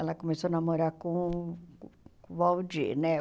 Ela começou a namorar com o Waldir, né?